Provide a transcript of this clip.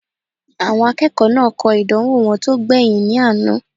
Àwọn akẹ́kọ̀ọ́ náà kọ ìdánwò wọn tó gbẹ̀yìn ní àná